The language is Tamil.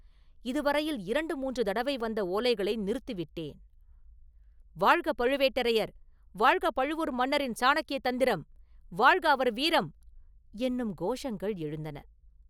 இது வரையில் இரண்டு மூன்று தடவை வந்த ஓலைகளை நிறுத்தி விட்டேன்.” “வாழ்க பழுவேட்டரையர்!”, “வாழ்க பழுவூர் மன்னரின் சாணக்ய தந்திரம்!”, “வாழ்க அவர் வீரம்!” என்னும் கோஷங்கள் எழுந்தன.